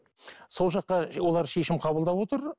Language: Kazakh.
сол жаққа олар шешім қабылдап отыр